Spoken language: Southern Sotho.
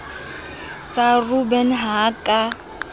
sa robben ha a ka